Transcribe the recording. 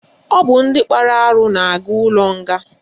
Ọ bụ ndị kpara arụ na-aga ụlọnga